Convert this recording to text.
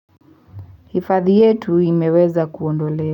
Hifadhi yetu imeweza kuondole.